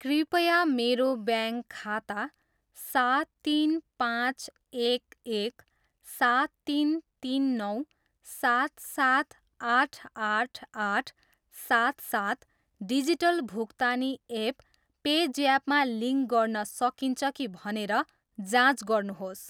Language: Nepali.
कृपया मेरो ब्याङ्क खाता सात तिन पाँच एक एक सात तिन तिन नौ सात सात आठ आठ आठ सात सात डिजिटल भुक्तानी एप पे ज्याप मा लिङ्क गर्न सकिन्छ कि भनेर जाँच गर्नुहोस्?